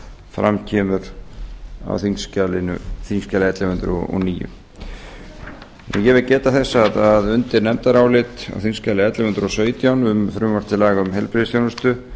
fram kemur á þingskjali ellefu hundruð og níu eg vil geta þess að undir nefndarálit á þingskjali ellefu hundruð og sautján um frumvarp til laga um heilbrigðisþjónustu